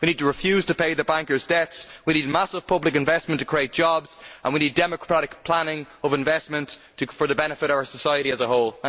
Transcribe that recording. We need to refuse to pay the bankers' debts, we need massive public investment to create jobs and we need democratic planning of investment for the benefit of our society as a whole.